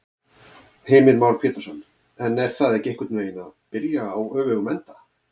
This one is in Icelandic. Heimir Már Pétursson: En er það ekki einhvern veginn að byrja á öfugum enda?